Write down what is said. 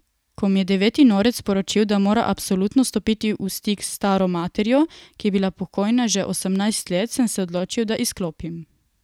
Ko mi je deveti norec sporočil, da mora absolutno stopiti v stik s staro materjo, ki je bila pokojna že osemnajst let, sem se odločil, da izklopim.